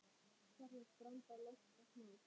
Kallast branda lonta smá.